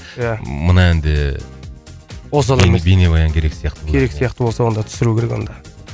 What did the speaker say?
иә мына ән де осал емес бейнебаян керек сияқты керек сияқты осыған да түсіру керек онда